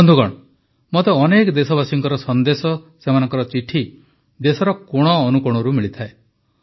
ବନ୍ଧୁଗଣ ମୋତେ ଅନେକ ଦେଶବାସୀଙ୍କର ସନ୍ଦେଶ ସେମାନଙ୍କ ଚିଠି ଦେଶର କୋଣଅନୁକୋଣରୁ ମିଳିଥାଏ